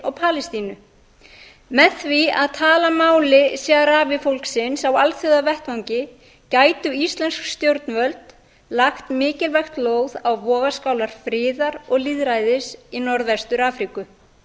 og palestínu með því að tala máli sahrawi fólksins á alþjóðavettvangi gætu íslensk stjórnvöld lagt mikilvægt lóð á vogarskálar friðar og lýðræðis í norðvestur afríku